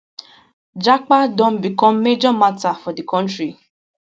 japa don become major matter for di kontri